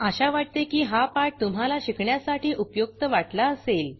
आशा वाटते की हा पाठ तुम्हाला शिकण्यासाठी उपयुक्त वाटला असेल